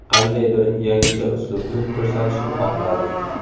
Qandaydir yangicha uslubni ko‘rsatishni xohladim.